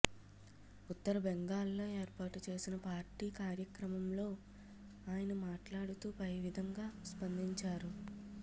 ఉత్తర బెంగాల్లో ఏర్పాటు చేసిన పార్టీ కార్యక్ర మంలో ఆయన మాట్లాడుతూ పై విధం గా స్పందించారు